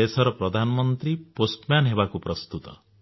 ଦେଶର ପ୍ରଧାନମନ୍ତ୍ରୀ ଡାକବାଲାPostman ହେବାକୁ ପ୍ରସ୍ତୁତ